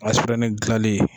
gilalen.